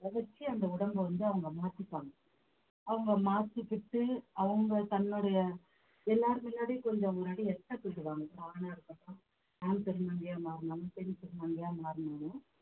அதை வச்சி அந்த உடம்பை வந்து அவங்க மாத்திப்பாங்க அவங்க மாத்திக்கிட்டு அவங்க தன்னுடைய எல்லார் முன்னாடியும் கொஞ்சம் முன்னாடி ஆணா இருக்கட்டும் ஆண் திருநங்கையா மாறினாலும் பெண் திருநங்கையா மாறினாலும்